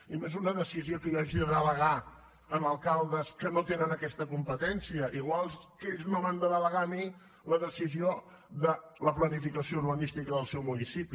i no és una decisió que jo hagi de delegar en alcaldes que no tenen aquesta competència igual que ells no m’han de delegar a mi la decisió de la planificació urbanística del seu municipi